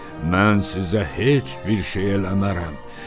Mən sizə heç bir şey eləmərəm.